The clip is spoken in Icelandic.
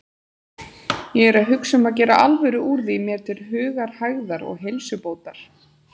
Ég er að hugsa um að gera alvöru úr því mér til hugarhægðar og heilsubótar.